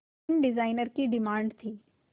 fashion designer की demand थी